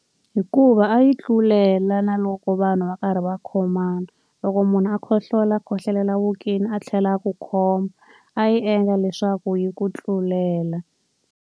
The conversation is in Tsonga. Hikuva a yi tlulela na loko vanhu va karhi va khomana. Loko munhu a khohlola a khohlolela evokweni, a tlhela a ku khoma, a yi endla leswaku yi ku tlulela.